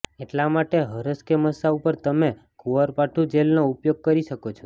એટલા માટે હરસ કે મસ્સા ઉપર તમે કુવારપાઠું જેલનો ઉપયોગ કરી શકો છો